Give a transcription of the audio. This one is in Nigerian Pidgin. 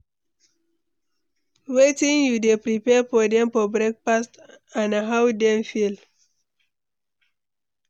Wetin you dey prepare for dem for breakfast and how dem dey feel?